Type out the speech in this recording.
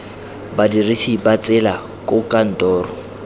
badirisi ba tsela koo kantoro